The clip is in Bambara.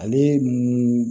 Ale mun